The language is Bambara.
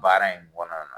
Baara in kɔnɔna na